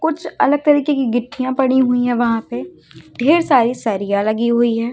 कुछ अलग तरीके की गिट्टियां पड़ी हुई हैं वहां पे ढेर सारी सरियां लगी हुई है।